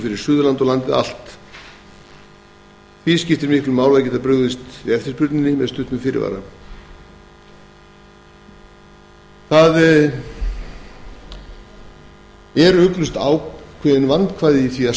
fyrir suðurland og landið allt því skiptir miklu að geta brugðist við eftirspurninni með stuttum fyrirvara ugglaust eru vandkvæði á því að